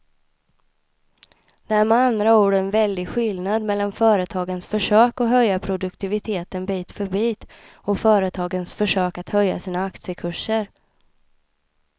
Det är med andra ord en väldig skillnad mellan företagens försök att höja produktiviteten bit för bit och företagens försök att höja sina aktiekurser.